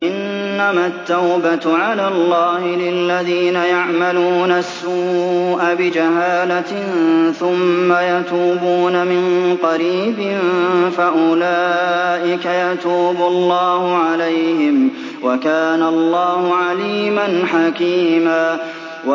إِنَّمَا التَّوْبَةُ عَلَى اللَّهِ لِلَّذِينَ يَعْمَلُونَ السُّوءَ بِجَهَالَةٍ ثُمَّ يَتُوبُونَ مِن قَرِيبٍ فَأُولَٰئِكَ يَتُوبُ اللَّهُ عَلَيْهِمْ ۗ وَكَانَ اللَّهُ عَلِيمًا حَكِيمًا